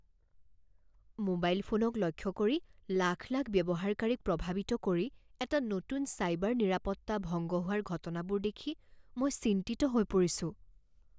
Mobile ফোনক লক্ষ্য কৰি লাখ লাখ ব্যৱহাৰকাৰীক প্ৰভাৱিত কৰি এটা নতুন চাইবাৰ নিৰাপত্তা ভংগ হোৱাৰ ঘটনাবোৰ দেখি মই চিন্তিত হৈ পৰিছোঁ।